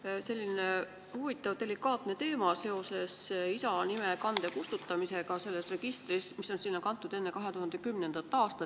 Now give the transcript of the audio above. See on selline huvitav delikaatne teema seoses isa nime kande kustutamisega selles registris, kui see nimi on sinna kantud enne 2010. aastat.